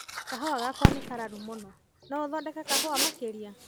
Kahua gakwa nĩ kararu mũno, no othondeke kahua makĩria.